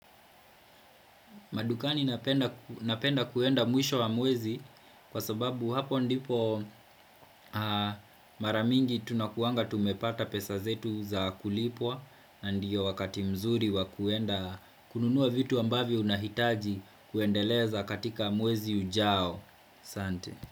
Madukani napenda kuenda mwisho wa mwezi kwa sababu hapo ndipo mara mingi tunakuanga tumepata pesa zetu za kulipwa Ndiyo wakati mzuri wa kuenda kununua vitu ambavyo unahitaji kuendeleza katika mwezi ujao Sante.